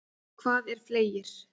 Hvað er fleygir?